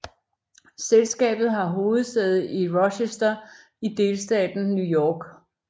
Selskabet har hovedsæde i Rochester i delstaten New York